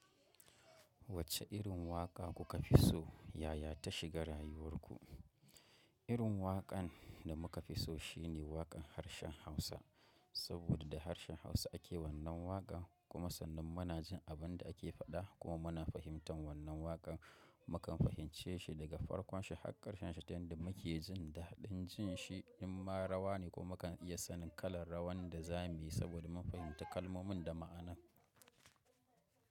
Wacce irin waƙa kuka fi so yayata shiga rayuwarku? Irin waƙan da muka fi so shine waƙan harshen Hausa. Saboda da harshen Hausa ake wannan waƙa kuma sannan muna jin abin da ake faɗa kuma muna fahimtan wannan waƙa. Mukan fahimce shi daga farkon shi har ƙarshen shi ta hanyar muke jin daɗin jin shi in ma rawa ne kuma kan iya sanin kalar rawan da za mu yi saboda mun fahimci kalmomin da ma'anan.